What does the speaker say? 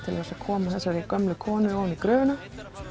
til þess að koma þessari gömlu konu ofan í gröfina